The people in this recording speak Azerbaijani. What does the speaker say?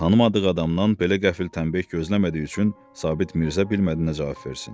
Tanımadığı adamdan belə qəfil təminlik gözləmədiyi üçün Sabit Mirzə bilmədi nə cavab versin.